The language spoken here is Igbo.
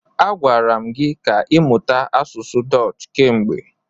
A gwara m gi ka ịmụta asụsụ Dọch kemgbe.